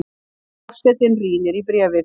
Forsetinn rýnir í bréfið.